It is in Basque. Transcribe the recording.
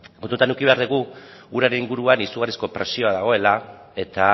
ezta kontutan eduki behar dugu uraren inguruan izugarrizko presioa dagoela eta